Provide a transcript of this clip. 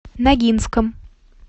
ногинском